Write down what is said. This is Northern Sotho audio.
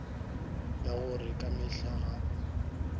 ka gore ka mehla ga